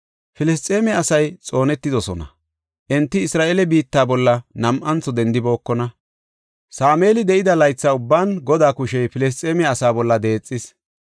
Filisxeeme asay xoonetidosona; enti Isra7eele biitta bolla nam7antho dendibookona. Sameeli de7ida laytha ubban Godaa kushey Filisxeeme asaa bolla deexis.